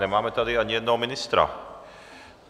Nemáme tady ani jednoho ministra.